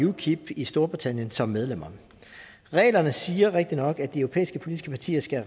ukip i storbritannien som medlemmer reglerne siger rigtignok at de europæiske politiske partier skal